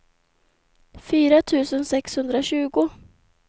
fyra tusen sexhundratjugo